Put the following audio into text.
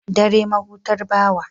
Dare mahutar bawa.